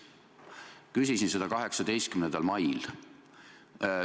Küsisin seda 18. mail.